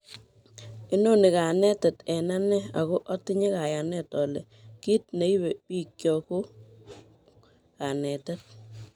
Inoni kanetet eng ane, ako otinye kayanet ole kit neibe bikyok koik kanetet